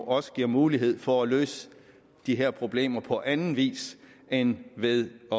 også giver mulighed for at løse de her problemer på anden vis end ved at